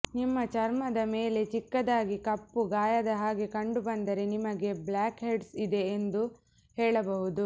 ನಿಮ್ಮ ಚರ್ಮದ ಮೇಲೆ ಚಿಕ್ಕದಾಗಿ ಕಪ್ಪು ಗಾಯದ ಹಾಗೆ ಕಂಡುಬಂದರೆ ನಿಮಗೆ ಬ್ಲ್ಯಾಕ್ ಹೆಡ್ಸ್ ಇದೆ ಎಂದು ಹೇಳಬಹುದು